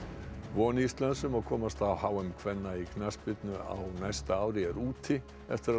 von Íslands um að komast á h m kvenna í knattspyrnu á næsta ári er úti eftir að